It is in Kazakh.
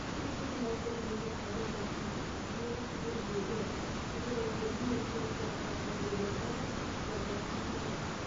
көптеген аутоимундық ревматизм жүйелі қызыл жегі склеродермия деген сияқты ауруларда да жағдай қиын болады